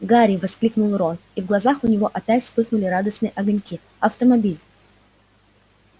гарри воскликнул рон и в глазах у него опять вспыхнули радостные огоньки автомобиль